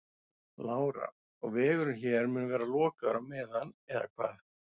Lára: Og vegurinn hér mun vera lokaður á meðan eða hvað?